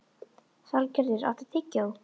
Salgerður, áttu tyggjó?